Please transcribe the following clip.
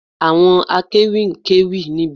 Àwọn akéwì ń kéwì níbi ayẹyẹ